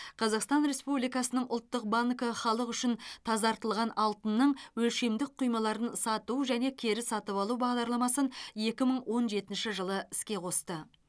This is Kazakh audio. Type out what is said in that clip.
қазақстан республикасының ұлттық банкі халық үшін тазартылған алтынның өлшемдік құймаларын сату және кері сатып алу бағдарламасын екі мың он жетінші жылы іске қосты